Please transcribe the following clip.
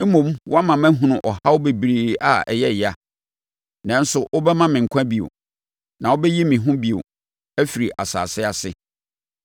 Mmom woama mahunu ɔhaw bebree a ɛyɛ yea; nanso wobɛma me nkwa bio; na wobɛyi me bio afiri asase ase.